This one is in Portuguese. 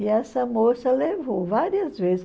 E essa moça levou várias vezes.